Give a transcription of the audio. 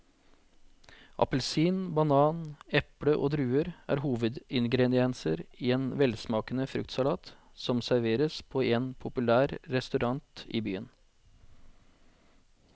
Appelsin, banan, eple og druer er hovedingredienser i en velsmakende fruktsalat som serveres på en populær restaurant i byen.